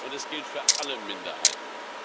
Es gilt für alle Minderheiten.